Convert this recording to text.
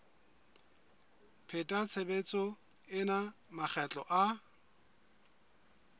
pheta tshebetso ena makgetlo a